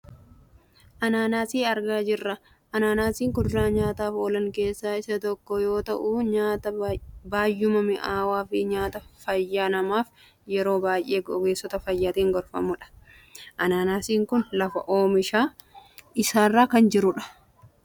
Ananaasi argaa jirra, ananaasiin kuduraa nyaataaf oolan keessaa isa tokko yoo ta'u nyaata baayyuma mi'aawuu fi nyaata fayyaa namaaf yeroo baayyee ogeessota fayyaatiin gorfamudha. Ananaasiin kun lafa oomisha isaarra kan jirudha.